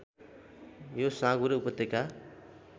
यो साँगुरो उपत्यका